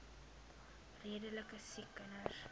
redelike siek kinders